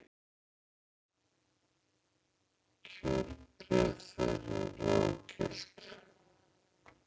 Kjörbréf þeirra eru ógild